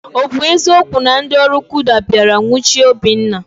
Ọ bụ eziokwu na ndị ọrụ kuda bịara nwuchie Obinna?